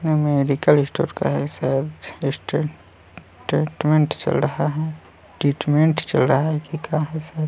ये medical store का है शायद स्टेट टेटमेंट चल रहा है ट्रीटमेंन्ट की का है शायद--